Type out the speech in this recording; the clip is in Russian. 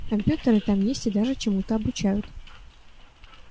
компьютеры там есть и даже чему-то обучают